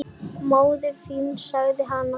Móðir þín sagði hann.